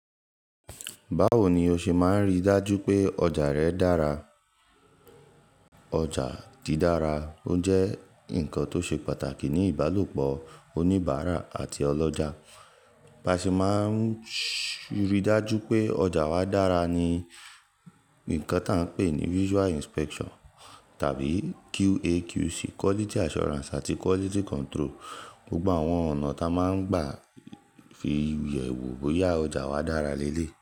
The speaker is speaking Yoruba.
Báwo ni o ṣe máa ń rí dájú pé ọjà rẹ dára? Ọjà dí dára, ó jẹ́ nǹkan tó ṣe pàtàkì ní ìbálòpọ̀ oníbàárà àti ọlọ́jà. Baṣe máa ń rí dájú pé ọjà wa dára ní nǹkan tá a ń pè ní visual inspection tàbí QAQC, quality assurance àti quality control. Gbogbo àwọn ọ̀nà ta máa ń gbà fi yẹ̀ wo bóyá ọjà wa dára léélée.